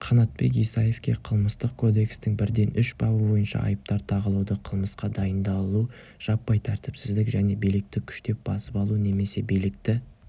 қанатбек исаевке қылмыстық кодекстің бірден үш бабы бойынша айыптар тағылуда қылмысқа дайындалу жаппай тәртіпсіздік және билікті күштеп басып алу немесе билікті